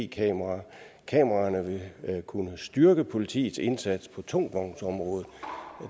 kameraer kameraerne vil kunne styrke politiets indsats på tungvognsområdet